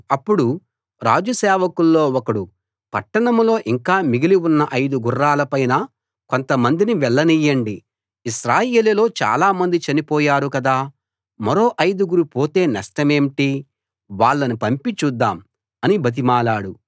అప్పుడు రాజు సేవకుల్లో ఒకడు పట్టణంలో ఇంకా మిగిలి ఉన్న ఐదు గుర్రాల పైన కొంతమందిని వెళ్ళనీయండి ఇశ్రాయేలులో చాలా మంది చనిపోయారు కదా మరో ఐదుగురు పోతే నష్టమేంటి వాళ్ళని పంపి చూద్దాం అని బతిమాలాడు